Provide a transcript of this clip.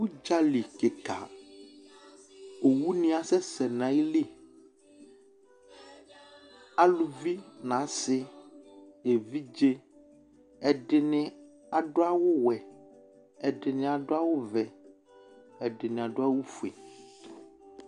Udzali kika Owunɩ asɛsɛ nʋ ayili Aluvi, nʋ asɩ nʋ evidze; ɛdɩnɩ adʋ awʋwɛ, ɛdɩnɩ adʋ awʋvɛ, ɛdɩnɩ adʋ awʋfue